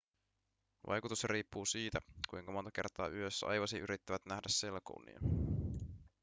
vaikutus riippuu siitä kuinka monta kertaa yössä aivosi yrittävät nähdä selkounia